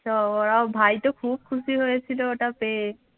তো ওরাও ভাই তো খুব খুশি হয়েছিল ওটা পেয়ে।